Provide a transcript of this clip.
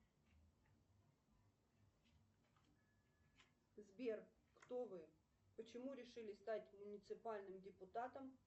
сбер кто вы почему решили стать муниципальным депутатом